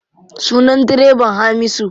Sunan direban Hamisu.